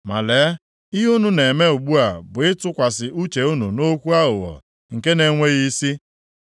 Ma lee, ihe unu na-eme ugbu a bụ ịtụkwasị uche unu nʼokwu aghụghọ nke na-enweghị isi.